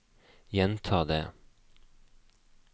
gjenta det